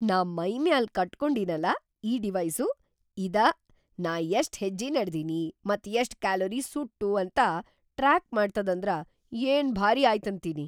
ನಾ ಮೈಮ್ಯಾಲ್‌ ಕಟ್ಕೊಂಡೀನಲಾ ಈ ಡಿವೈಸು ಇದ ನಾ ಎಷ್ಟ್ ಹೆಜ್ಜಿ ನಡದೀನಿ ಮತ್‌ ಎಷ್ಟ್ ಕ್ಯಾಲೋರಿ ಸುಟ್ವು ಅಂತ ಟ್ರಾಕ್‌ ಮಾಡ್ತದಂದ್ರ ಏನ್‌ ಭಾರೀ ಆಯ್ತಂತೀನಿ.